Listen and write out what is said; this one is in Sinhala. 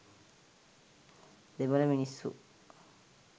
දෙමළ මිනිස්සු